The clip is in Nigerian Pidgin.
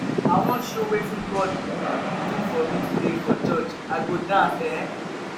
i wan show wetin god do for me today for church. i go dance eh